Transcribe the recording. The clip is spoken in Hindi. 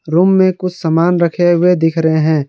रूम में कुछ सामान रखे हुए दिख रहे हैं।